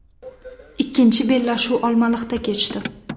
Ikkinchi bellashuv Olmaliqda kechdi.